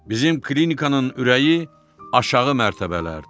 Bizim klinikanın ürəyi aşağı mərtəbələrdir.